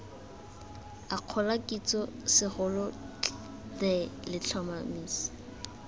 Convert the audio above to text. akgola kitso segolo the letlhomeso